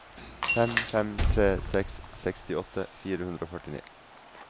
fem fem tre seks sekstiåtte fire hundre og førtini